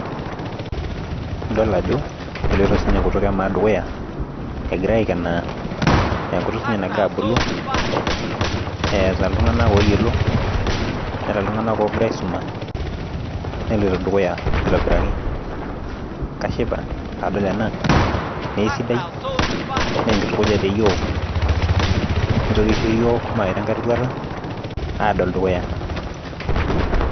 Idol ajo eloito sii ninye enkutuk emaa dukuya egirae aikenaa. enkutuk sii ninye nagira abulu. eeta iltunganak ooyiolo, neeta iltunganak oogira aisuima. neloito dukuya aitobiraki. kashipa pee adol ena naa aisidai. enkitukuja teyiook. nitoki aisho iyiook mawaita enkae roruata. aado dukuya.